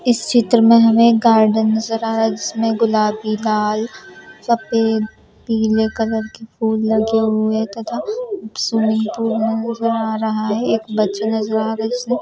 इस चित्र में हमें एक गार्डन नजर आ रहा है जिसमें गुलाबी लाल सफेद पीले कलर की फूल लगे हुए तथा स्विमिंग पूल नजर आ रहा है एक अच्छे नजर आ रहा है उसमें।